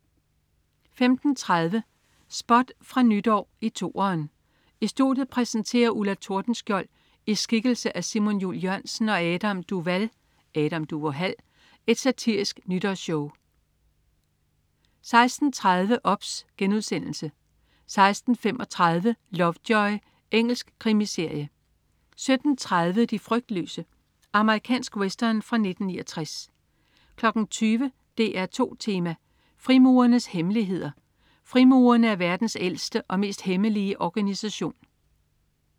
15.30 Spot fra Nytår i 2'eren. I studiet præsenterer Ulla Tordenskjold (i skikkelse af Simon Jul Jørgensen) og Adam Duvall (Adam Duvå Hal) et satirisk nytårsshow 16.30 OBS* 16.35 Lovejoy. Engelsk krimiserie 17.30 De frygtløse. Amerikansk western fra 1969 20.00 DR2 Tema: Frimurernes hemmeligheder. Frimurerne er verdens ældste og mest hemmelige organisation